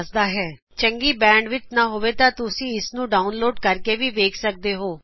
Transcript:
ਅਗਰ ਤੁਹਾਡੇ ਕੋਲ ਇਕ ਚੰਗਾ ਬੈਂਡ ਵਿੜਥ ਨਹੀ ਹੈ ਤਾ ਤੁਸੀਂ ਇਸ ਨੂੰ ਡਾਉਨਲੋਡ ਕਰਕੇ ਵੇਖ ਸਕਦੇ ਹੋ